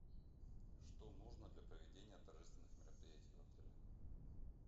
что нужно для проведения торжественных мероприятий в отеле